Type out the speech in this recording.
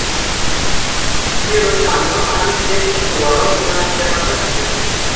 Hefur sannað að hann getur skorað meðal þeirra bestu.